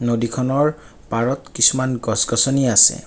নদীখনৰ পাৰত কিছুমান গছ গছনি আছে।